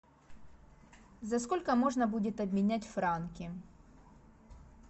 за сколько можно будет обменять франки